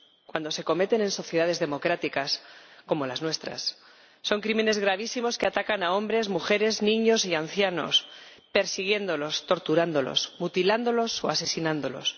Cuando se cometen en sociedades democráticas como las nuestras son crímenes gravísimos que atacan a hombres, mujeres, niños y ancianos, persiguiéndolos, torturándolos, mutilándolos o asesinándolos.